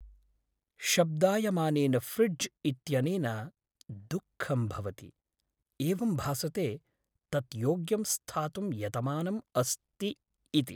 शब्दायमानेन fridge इत्यनेन दुःखं भवति, एवं भासते तत् योग्यं स्थातुं यतमानम् अस्ति इति!